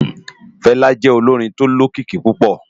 Fela jè ólórin tó ni ókiki púpò